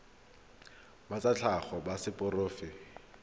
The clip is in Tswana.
ba tsa tlhago ba seporofe